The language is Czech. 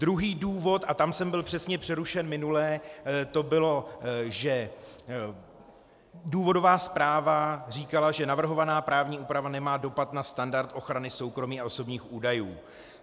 Druhý důvod, a tam jsem byl přesně přerušen minule, to bylo, že důvodová zpráva říkala, že navrhovaná právní úprava nemá dopad na standard ochrany soukromí a osobních údajů.